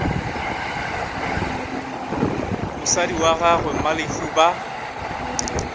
mosadi wa gagwe mmalehu ba